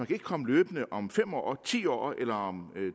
kan komme løbende om fem år ti år eller om